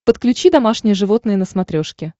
подключи домашние животные на смотрешке